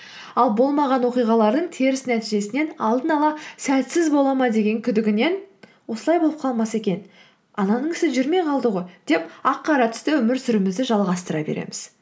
ал болмаған оқиғалардың теріс нәтижесінен алдын ала сәтсіз бола ма деген күдігінен осылай болып қалмаса екен ананың ісі жүрмей қалды ғой деп ақ қара түсті өмір сүруімізді жалғастыра береміз